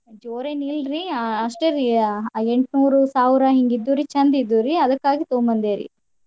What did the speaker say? ಜೋರ್ ಏನ್ ಇಲ್ರೀ ಅಷ್ಟೇ ರೀ ಅ ಎಂಟ್ನೂರು ಸಾವ್ರಾ ಹಂಗ್ ಇದ್ರು ಚಂದ್ ಇದ್ವು ರಿ ಅದ್ಕ ಆಗಿ ತಗೋಬಂದ್ವಿರಿ.